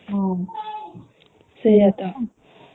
ହୁଁ ହଁ